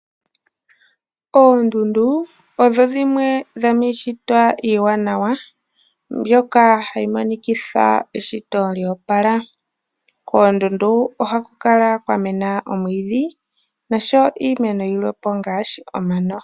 Oondundu odho dhimwe dhomiishitwa iiwanawa mbyoka hayi monikitha eshito lyo opala. Koondundu ohaku kala kwa mena omwiidhi noshowo iimeno yilwe po ngaashi omano.